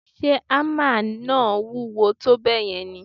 Ṣe hámà náà wúwo tó bẹ́ẹ̀ yẹn ni?